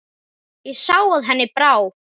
Ég sá að henni brá.